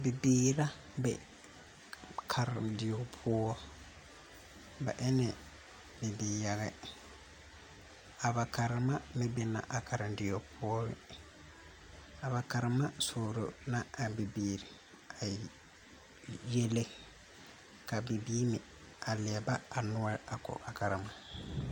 Bibiira be kariŋ die poʊ. Ba ene bibiir yage. A ba karema meŋ be na a kariŋ die poʊ be. A ba karema soɔro na a bibiire a yɛlle ka bibiir meŋ a liɛba a nuor a ko a karema.